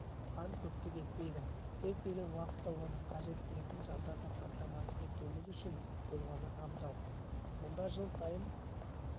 қан көптік етпейді кез-келген уақытта оны қажетсінетін жандарды қамтамасыз етуіміз үшін болғаны абзал мұнда жыл сайын